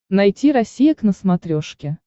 найти россия к на смотрешке